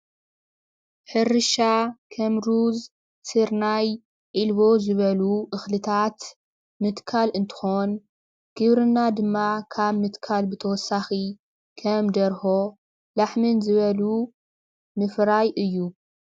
ሕርሻ ከም ሩዝ፣ ስርናይ፣ ዒልቦ ዝበሉ እኽልታት ምትካል እንትኾን ግብርና ድማ ካብ ምትካል ብተወሳኺ ከም ደርሆ፣ ላሕምን ዝበሉ ምፍራይ እዩ፡፡